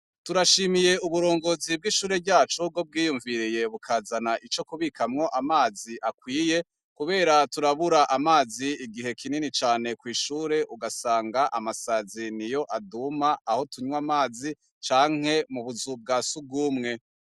Turashimiye uburongozi bw' ishure ryacu bwo bwiyumviriye bukazana ico kubikamwo amazi akwiye, kubera turabura amazi igihe kinini cane kw'ishure ugasanga amasazi ni yo aduma aho tunywa amazi canke mubuzu bwa sugumwe.